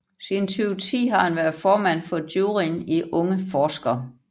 Siden 2010 har han været formand for juryen i Unge Forskere